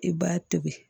I b'a tobi